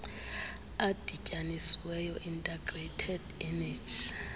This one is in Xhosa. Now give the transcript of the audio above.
adityanisiweyo integrated energy